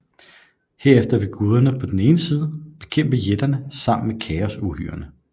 Herefter vil guderne på den ene side bekæmpe jætterne sammen med kaosuhyrerne